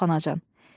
Yox anacan.